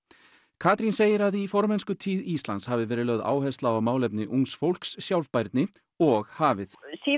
Katrín segir að í formennskutíð Íslands hafi verið lögð áhersla á málefni ungs fólks sjálfbærni og hafið